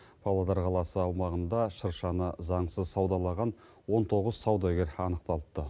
павлодар қаласы аумағында шыршаны заңсыз саудалаған он тоғыз саудагер анықталыпты